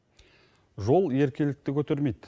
жол еркелікті көтермейді